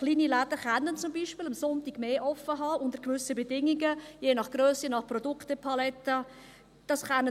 Kleine Läden können zum Beispiel sonntags länger geöffnet halten – unter gewissen Bedingungen, je nach Grösse und Produktepalette.